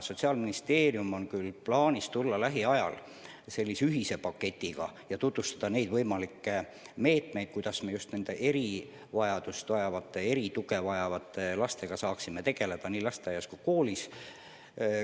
Sotsiaalministeeriumil ongi plaanis tulla lähiajal välja sellise ühise paketiga ja tutvustada võimalikke meetmeid, kuidas me nende erivajadusega, erisugust tuge vajavate lastega saaksime tegeleda nii lasteaias kui koolis.